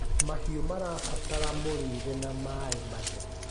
Mahĩũ marabatara mũrĩre na maĩ matherũ